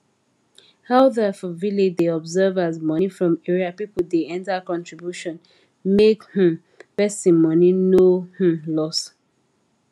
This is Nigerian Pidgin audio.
elder for village da observe as money from area people da enter contribution make um person money no um loss